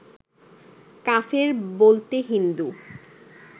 কাফের বলতে হিন্দু